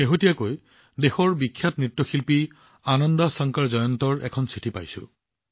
শেহতীয়াকৈ দেশৰ বিখ্যাত ভাৰতীয় শাস্ত্ৰীয় নৃত্যশিল্পী আনন্দ শংকৰ জয়ন্তৰ এখন চিঠি পাইছো